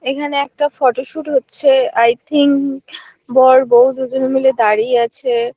এখানে একটা ফটোশুট হচ্ছে আই থিঙ্ক বর বৌ দুজন মিলে দাঁড়িয়ে আছে।